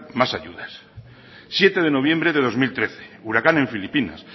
más ayudas siete de noviembre de dos mil trece huracán en filipinas